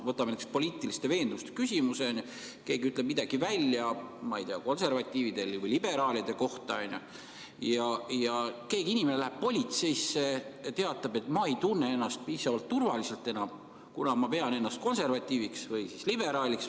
Võtame näiteks poliitiliste veendumuste küsimuse: keegi ütleb midagi konservatiivide või liberaalide kohta ning inimene läheb seepeale politseisse ja teatab, et ta ei tunne ennast enam piisavalt turvaliselt, kuna ta peab ennast konservatiiviks või liberaaliks.